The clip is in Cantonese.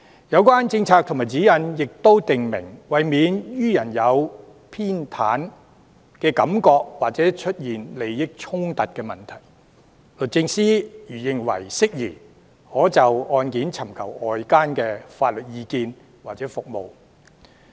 有關政策和指引亦訂明，為免予人有偏袒的感覺或出現利益衝突的問題，律政司如認為適宜，可就案件尋求外間的法律意見或服務。